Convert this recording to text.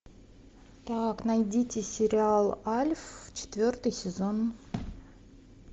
так найдите сериал альф четвертый сезон